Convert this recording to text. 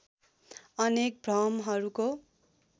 अनेक भ्रमहरूको